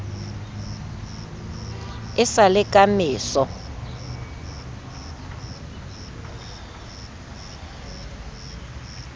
e sa le ka meso